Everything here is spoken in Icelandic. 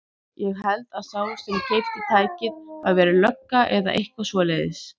Ég held að sá sem keypti tækið hafi verið lögga eða eitthvað svoleiðis.